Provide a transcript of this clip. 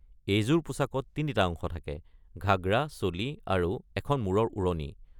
এইযোৰ পোছাকত তিনিটা অংশ থাকে, ঘাগৰা, চোলি আৰু এখন মূৰৰ ওৰণি।